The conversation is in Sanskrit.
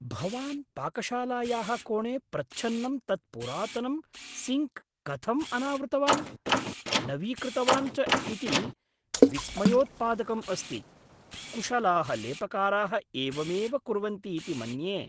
भवान् पाकशालायाः कोणे प्रच्छन्नं तत् पुरातनं सिङ्क् कथम् अनावृतवान्, नवीकृतवान् च इति विस्मयोत्पादकम् अस्ति। कुशलाः लेपकाराः एवमेव कुर्वन्ति इति मन्ये।